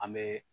An bɛ